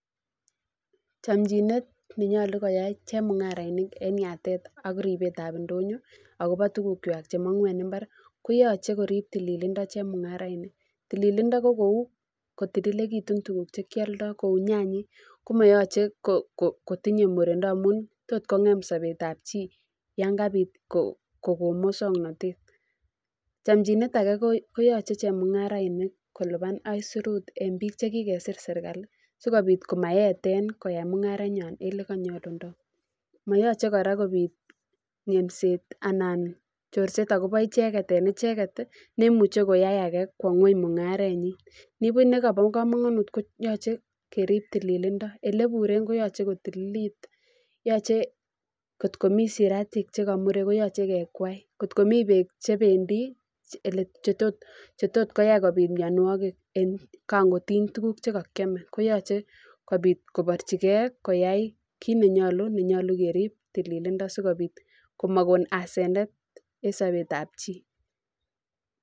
Chanchinet neyolu koyai chemung'araindet eng yatet ak ribetab ndonyo ako tukukwai cheman'gu eng mbar koyochei korip tililindo chemung'arainik. Tililindo ko kou kotililitu tukuk chekealdoi cheu nyanyik komayachei kotiyei murindo amun os kong'em sobetab chii yan kapi kokon musoknatet. Chanchinet age koyochei chemung'arainik kolipan aisurut eng biik chekikosir serkali sikobit komaete koyai mung'are eng olekamakta. mayachei kora kobiit terset anan terset eng icheket eng icheket. Nemuchei koyai age kowa ng'weny mung'arenyi. Nibuch nekabo komonut ko yachei kerip tililindo elepuren koyochei kotililit. Yochei kot komi siratik chekamuren koyachei kekwai, kot komi beek chebendi cheos kokany kobiit mianwogik eng kangotiny tukuk chekiamei koyachei kobiit kobarchingei koyai kiit nenyolu, nenyolu kerip tililindo sikopit amakon asenet eng sobet ab chii.